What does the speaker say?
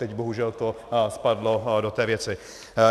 Teď bohužel to spadlo do té věci.